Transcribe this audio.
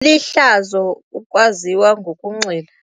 Lihlazo ukwaziwa ngokunxila.